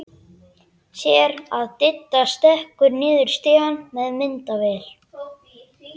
Sér að Diddi stekkur niður stigann með myndavél.